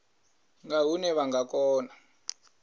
nga hune vha nga kona